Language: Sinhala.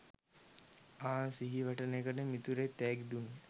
ආ සිහිවටනෙකට මිතුරෙක් තෑගි දුන්න